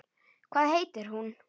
Hvað heitir hún?